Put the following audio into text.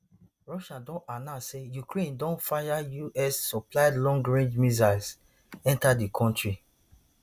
russia don announce say ukraine don fire us supplied long range missiles enta di kontri